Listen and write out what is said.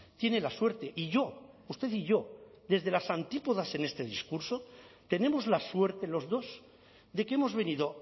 tiene la suerte y yo usted y yo desde las antípodas en ese discurso tenemos la suerte los dos de que hemos venido